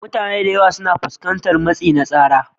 Mutane da yawa suna fuskantar matsi na tsara,